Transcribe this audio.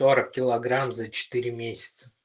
сорок килограмм за четыре месяца